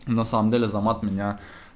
на самом деле азамат меня